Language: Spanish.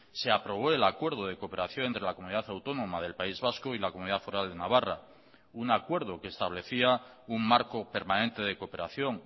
se aprobó el acuerdo de cooperación entre la comunidad autónoma del país vasco y la comunidad foral de navarra un acuerdo que establecía un marco permanente de cooperación